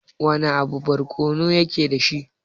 Wana abu barkono yake dashi?